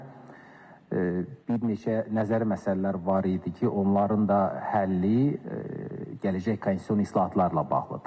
Yeganə bir neçə nəzəri məsələlər var idi ki, onların da həlli gələcək konstitusion islahatlarla bağlıdır.